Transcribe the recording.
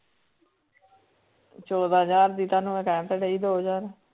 ਚੌਦਾਂ ਹਜ਼ਾਰ ਦੀ ਤੁਹਾਨੂੰ ਮੈਂ ਕਹਿ ਤਾਂ ਰਹੀ ਦੋ ਹਜ਼ਾਰ।